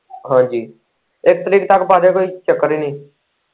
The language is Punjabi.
ਹਾਂਜੀ ਇੱਕ ਤਰੀਕ ਤੱਕ ਪਾ ਦਿਓ ਕੋਈ ਚੱਕਰ ਹੀ ਨੀ।